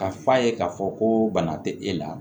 Ka f'a ye k'a fɔ ko bana tɛ e la